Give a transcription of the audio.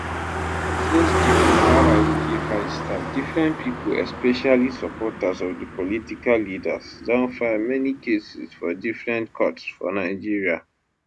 since di fubarawike fight start different pipo especially supporters of di political leaders don file many cases for different courts for nigeria